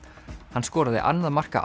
hann skoraði annað marka